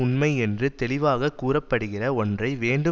தெளிவாக கூற படுகிற ஒன்றை வேண்டுமென்றே இல்லை